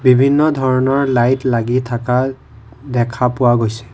বিভিন্ন ধৰণৰ লাইট লাগি থাকা দেখা পোৱা গৈছে।